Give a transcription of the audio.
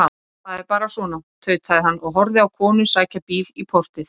Það er bara svona, tautaði hann og horfði á konu sækja bíl í portið.